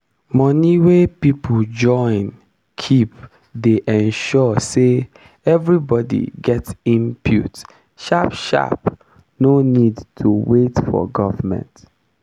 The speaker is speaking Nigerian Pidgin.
moni wey peole join keep dey ensure say everibodi get input sharp sharp no need to wait for government